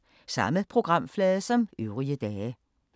Samme programflade som øvrige dage